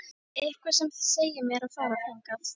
Eitthvað sem segir mér að fara þangað.